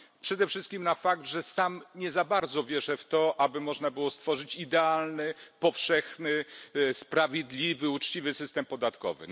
Przede wszystkim na fakt, że sam nie za bardzo wierzę w to, aby można było stworzyć idealny, powszechny, sprawiedliwy, uczciwy system podatkowy.